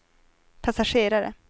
passagerare